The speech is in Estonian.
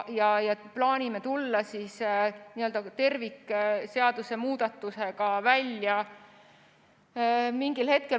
Me plaanime tulla tervikmuudatusega mingil hetkel välja.